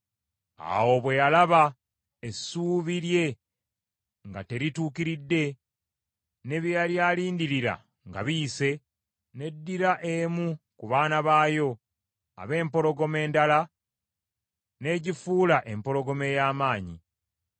“ ‘Awo bwe yalaba essuubi lye nga terituukiridde, ne bye yali alindirira nga biyise, n’eddira emu ku baana baayo ab’empologoma endala, n’egifuula empologoma ey’amaanyi.